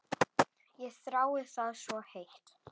Ég þrái það svo heitt.